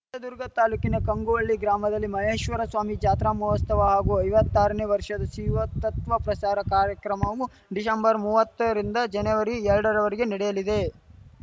ಹೊಸದುರ್ಗ ತಾಲೂಕಿನ ಕಂಗುವಳ್ಳಿ ಗ್ರಾಮದಲ್ಲಿ ಮಹೇಶ್ವರಸ್ವಾಮಿ ಜಾತ್ರಾ ಮಹೋಸ್ತವ ಹಾಗೂ ಐವತ್ತಾರನೇ ವರ್ಷದ ಶಿವತತ್ವ ಪ್ರಸಾರ ಕಾರ್ಯಕ್ರಮವು ಡಿಸೆಂಬರ್ ಮೂವತ್ತರಿಂದ ಜನವರಿ ಎರಡ ರವರೆಗೆ ನಡೆಯಲಿದೆ